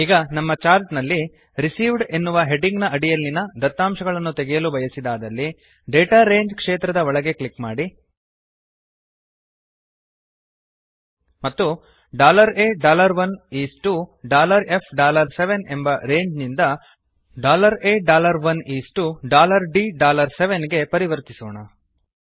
ಈಗ ನಮ್ಮ ಚಾರ್ಟ್ ನಲ್ಲಿ ರಿಸೀವ್ಡ್ ಎನ್ನುವ ಹೆಡ್ಡಿಂಗ್ ನ ಅಡಿಯಲ್ಲಿನ ದತ್ತಾಂಶಗಳನ್ನು ತೆಗೆಯಲು ಬಯಸಿದಾದಲ್ಲಿ ಡಾಟಾ ರಂಗೆ ಕ್ಷೇತ್ರದ ಒಳಗೆ ಕ್ಲಿಕ್ ಮಾಡಿ ಮತ್ತು A1 ಇಸ್ ಟಿಒ F7 ಎಂಬ ರಂಗೆ ನಿಂದ A1 ಇಸ್ ಟಿಒ D7 ಗೆ ಪರಿವರ್ತಿಸೋಣ